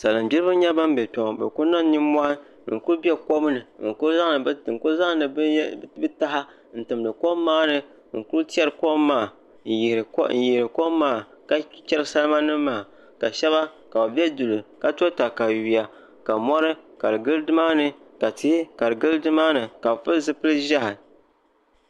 salingbiriba n-nyɛ ban be kpe ŋɔ bɛ kuli niŋ nimmɔhi n kuli be kon ni n ku zaŋ bɛ taha timdi kom maa ni n kuli tɛri kom maa n yihiri kom maa ka cheri salimanima maa ka shɛŋa ka bɛ be duli ka to takayuya ka mɔri ka di gili ni maa ni ka tihi ka di gili ni maa ni ka bɛ pili zipil' ʒehi